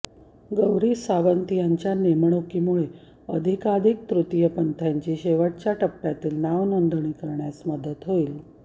गौरी सावंत यांच्या नेमणुकीमुळे अधिकाधिक तृतीयपंथींची शेवटच्या टप्प्यातील नावनोंदणी करण्यास मदत होईल